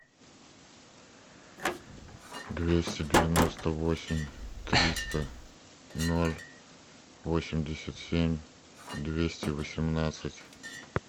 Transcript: двести девяносто восемь триста ноль восемьдесят семь двести восемнадцать